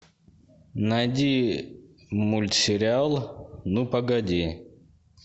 найди мультсериал ну погоди